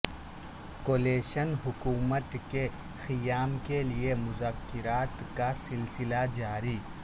coalition حکومت کے قیام کے لیے مذاکرات کا سلسلہ جاری